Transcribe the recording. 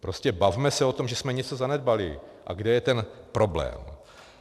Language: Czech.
Prostě bavme se o tom, že jsme něco zanedbali a kde je ten problém.